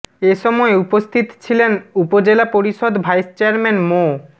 এ সময় উপস্থিত ছিলেন উপজেলা পরিষদ ভাইস চেয়ারম্যান মো